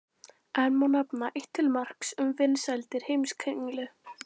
Enn má nefna eitt til marks um vinsældir Heimskringlu.